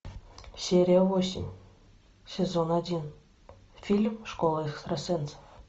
серия восемь сезон один фильм школа экстрасенсов